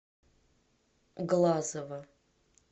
глазова